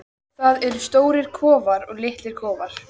Það eru stórir kofar og litlir kofar.